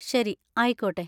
ശരി, ആയിക്കോട്ടെ.